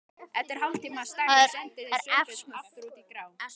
Eftir hálftíma stagl sendu þeir Sveinbjörn aftur út í grá